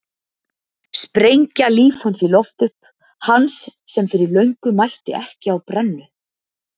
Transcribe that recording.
Sprengja líf hans í loft upp, hans sem fyrir löngu mætti ekki á brennu.